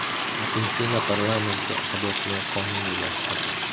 Argentina parlamenti abortni qonuniylashtirdi.